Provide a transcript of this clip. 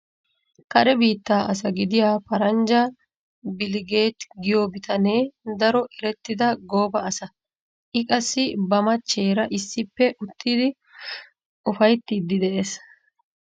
Kare biittaa asa gidiya paranjja biiligeeti giyo bitane daro erettida gooba asa. I qassi ba machcheera issippe uttidi ufayttiiddi de'ees.